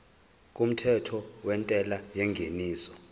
kumthetho wentela yengeniso